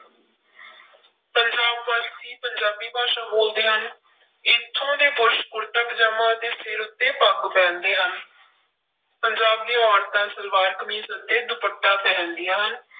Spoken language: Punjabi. ਪੰਜਾਬ ਵਾਸੀ ਪੰਜਾਬੀ ਭਾਸ਼ਾ ਬੋਲਦੇ ਹਨ, ਇੱਥੋਂ ਦੇ ਪੁਰਸ਼ ਕੁੜਤਾ ਪਜਾਮਾ ਅਤੇ ਸਿਰ ਉੱਤੇ ਪੱਗ ਪਹਿਨਦੇ ਹਨ ਪੰਜਾਬ ਦੀਆਂ ਔਰਤਾਂ ਸਲਵਾਰ ਕਮੀਜ਼ ਅਤੇ ਦੁਪੱਟਾ ਪਹਿਨਦੀਆਂ ਹਨ।